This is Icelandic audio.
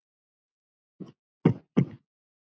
Hún hélt nú það.